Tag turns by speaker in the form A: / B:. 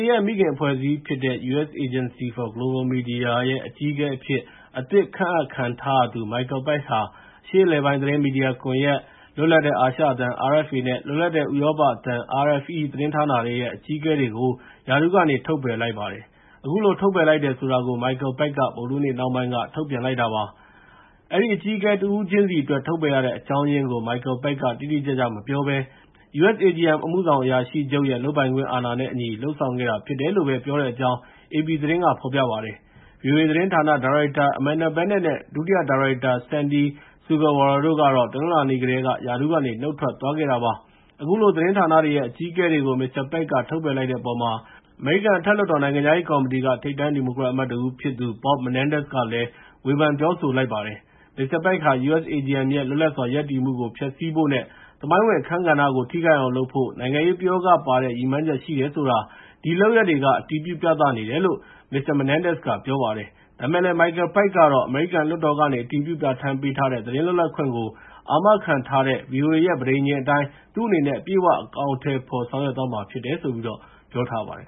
A: ရဲ့ မိခင်အဖွဲ့အစည်းဖြစ်တဲ့ U.S. Agency for Global Media (USAGM) ရဲ့ အကြီးအကဲအဖြစ် အသစ်ခန့်အပ်ခံထားရသူ Michael Pack ဟာ အရှေ့အလယ်ပိုင်းသတင်းမီဒီယာကွန်ရက်၊ လွတ်လပ်တဲ့ အာရှအသံ (RFA) နဲ့ လွတ်လပ်တဲ့ ဥရောပအသံ (RFE/Free Liberty) သတင်းဌာနတွေရဲ့ အကြီးအကဲတွေကို ရာထူးကနေ ထုတ်ပယ်လိုက်ပါတယ်။ အခုလို ထုတ်ပယ်လိုက်တယ်ဆိုတာကို Michael Pack က ဗုဒ္ဓဟူးနေ့ နှောင်းပိုင်းက ထုတ်ပြန်လိုက်တာဖြစ်ပါတယ်။ အဲဒီအကြီးအကဲ တဦးချင်းစီအတွက် ထုတ်ပယ်ရတဲ့အကြောင်းရင်းကို Michael Pack က တိတိကျကျမပြောဘဲ USAGM အမှုဆောင်အရာရှိချုပ်ရဲ့ လုပ်ပိုင်ခွင့်အာဏာနဲ့အညီ လုပ်ဆောင်လိုက်တာဖြစ်တယ်လို့ပဲ ပြောတဲ့အကြောင်း AP သတင်းက ဖော်ပြပါတယ်။ VOA သတင်းဌာန ဒါရိုက်တာ Amanda Bennett နဲ့ ဒုတိယဒါရိုက်တာ Sandy Sugawara တို့ကတော့ တနင်္လာနေ့ကတည်းက ရာထူးကနေ နုတ်ထွက်သွားခဲ့တာပါ။ အခုလို သတင်းဌာနတွေရဲ့ အကြီးအကဲတွေကို Mr. Pack က ထုတ်ပယ်လိုက်တဲ့အပေါ် အမေရိကန် အထက် လွှတ်တော် နိုင်ငံခြားရေးကော်မတီက ထိပ်တန်းဒီမိုကရက်အမတ်တဦးဖြစ်သူ Bob Menendez က ဝေဖန်ပြောဆိုပါတယ်။ Mr. Pack ဟာ USAGM ရဲ့ လွတ်လပ်စွာရပ်တည်မှုကို ဖျက်ဆီးဖို့နဲ့ သမိုင်းဝင် အခန်းကဏ္ဍကို ထိခိုက်အောင်လုပ်ဖို့ နိုင်ငံရေးပယောဂပါတဲ့ ရည်မှန်းချက် ရှိတယ်ဆိုတာ ဒီလုပ်ရပ်တွေက အတည်ပြုပြသနေတယ်လို့ မစ္စတာ Menendez က ပြောပါတယ်။ ဒါပေမဲ့လည်း Michael Pack ကတော့ အမေရိကန်လွှတ်တော်ကနေ အတည်ပြု ပြဌာန်းပေးထားတဲ့၊ သတင်း လွတ်လပ်ခွင့်ကို အာမခံထားတဲ့ VOA ရဲ့ ပဋိဉာဉ်အတိုင်း သူ့အနေနဲ့ အပြည့်အ၀ အကောင်အထည်ဖော် ဆောင်ရွက်သွားမှာဖြစ်တယ်လို့ ပြောထားပါတယ်